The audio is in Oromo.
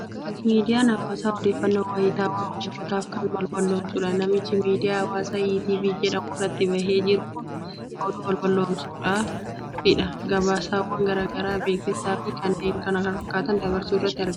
Miidiyaan hawaasaa odeeffannoo wayitaawaa uummataaf kan balballoomsudha. Namichi miidiyaa hawaasaa ETV jedhamu irratti bahee jiru kun oduu balballoomsuufidha. Gabaasawwan garaa garaa, beeksisaa fi kanneen kana fakkaatan dabarsuu irratti kan argamudha.